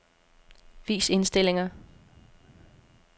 Vis indstillinger.